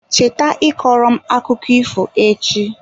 Cheta ịkọrọ m akụkọ ifo echi.